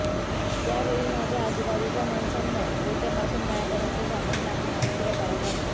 त्यावेळीमाझ्या आजूबाजूच्या माणसांना डोक्यापासून पायापर्यंत झाकून टाकणे आश्चर्यकारक वाटले